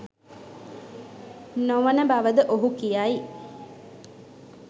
නොවන බව ද ඔහු කියයි.